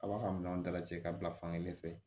A b'a ka minɛnw dalajɛ ka bila fankelen fɛ